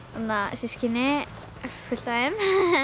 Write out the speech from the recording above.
systkini fullt af þeim